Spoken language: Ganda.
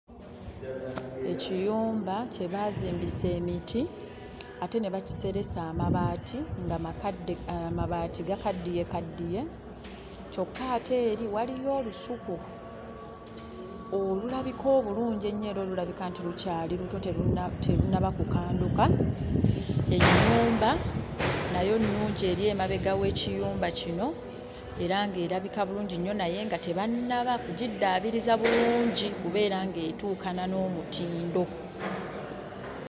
Ekiyumba kye baazimbisa emiti ate ne bakiseresa amabaati nga makadde, amabaati gakaddiyekaddiye kyokka ate eri waliyo olusuku olulabika obulungi ennyo era olulabika nti lukyali luto terunnaba kukanduka. Ennyumba nayo nnungi eri emabega w'ekiyumba kino era ng'erabika bulungi nnyo naye nga tebannaba kugiddaabiriza bulungi kubeera ng'etuukana n'omutindo.